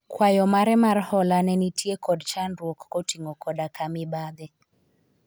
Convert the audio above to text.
kwayo mare mar hola ne nitie kod chandruok koting'o koda ka mibadhi